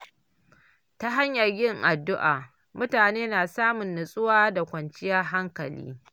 Ta hanyar yin addu’a, mutane na samun nutsuwa da kwanciyar hankali.